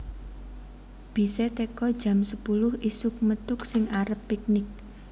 Bise teko jam sepuluh isuk methuk sing arep piknik